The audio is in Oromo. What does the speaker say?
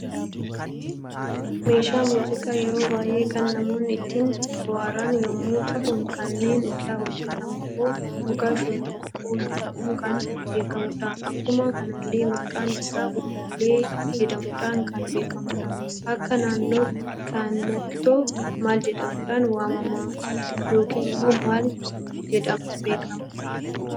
Meeshaa muuziqaa yeroo baay'ee kan namoonni ittin boo'aaran yemmu ta'u, kaniinni irra hojjetamummo muka shonboqqoo jedhamuun kan beekamudha. Akkuma kanallee maqaan isaa uluulle jedhamuudhan kan beekamudha. Akka naannoo keessanitto maal jedhamudhan waama? yookiin immo maal jedhamuun beekama?